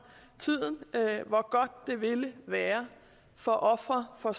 tiden hvor godt det ville være for ofre for